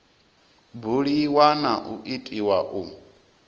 buliwa na u itiwa u